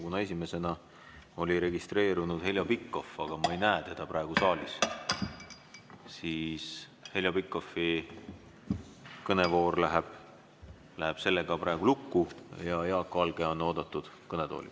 Kuna esimesena oli registreerunud Heljo Pikhof, aga ma ei näe teda praegu saalis, siis Heljo Pikhofi kõnevoor läheb sellega praegu lukku ja Jaak Valge on oodatud kõnetooli.